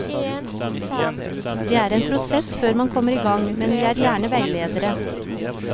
Det er en prosess før man kommer i gang, men vi er gjerne veiledere.